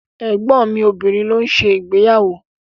Ẹ̀gbọ́n mi obìnrin ló ń ṣe ìgbéyàwó.